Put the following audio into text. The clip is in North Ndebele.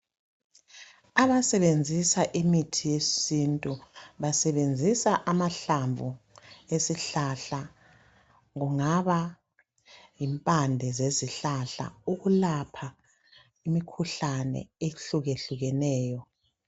Abasebenzisa imithi yesintu basebenzisa amahlamvu esihlahla kungaba yimpande zezihlahla ukulapha imikhuhlane ehluke hlukeneyo.